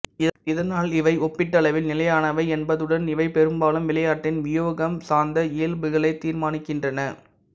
இதனால் இவை ஒப்பீட்டளவில் நிலையானவை என்பதுடன் இவை பெரும்பாலும் விளையாட்டின் வியூகம் சார்ந்த இயல்புகளைத் தீர்மானிக்கின்றன